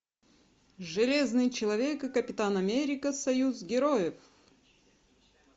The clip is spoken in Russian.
железный человек и капитан америка союз героев